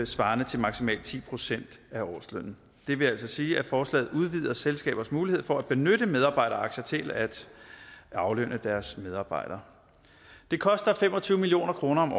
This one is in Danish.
svarende til maksimalt ti procent af årslønnen det vil altså sige at forslaget udvider selskabers mulighed for at benytte medarbejderaktier til at aflønne deres medarbejdere det koster fem og tyve million kroner om